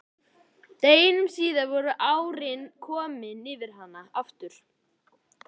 Deginum síðar voru árin komin yfir hana aftur.